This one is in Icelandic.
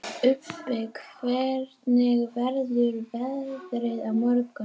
Ubbi, hvernig verður veðrið á morgun?